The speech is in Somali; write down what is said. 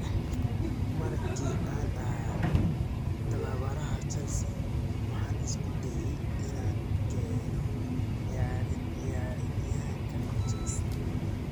"Markii aan ahaa tababaraha Chelsea, waxaan isku dayay inaan keeno ciyaaryahankan Chelsea."